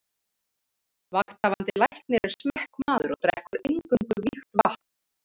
Vakthafandi Læknir er smekkmaður og drekkur eingöngu vígt vatn.